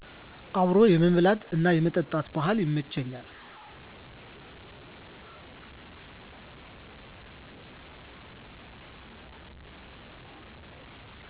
አብሮ የመብላት እና የመጠጣት ባህል ይመቸኛል።